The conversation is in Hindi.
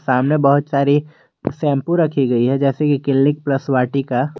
सामने बहुत सारी शैंपू रखी गई है जैसे कि क्लिनिक प्लस वाटिका ।